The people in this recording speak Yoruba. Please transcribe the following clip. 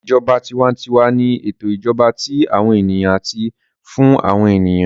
Ìjọba tiwantiwa ni ètò ìjọba tí àwọn ènìyàn àti fún àwọn ènìyàn